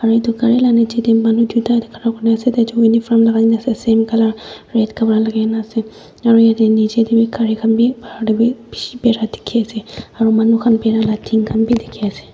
aru itu gari laga niche te manu dota khara kori kena ase taijon uniform lagai kena ase same colour red kapra lagai kena ase aru niche tebhi gari khan bhi bahar tebhi bishi berai dekhi ase aru manu khan barai bhi tin khan bhi dekhi ase.